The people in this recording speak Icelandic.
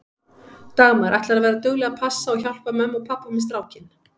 Dagmar: Ætlarðu að vera dugleg að passa og hjálpa mömmu og pabba með strákinn?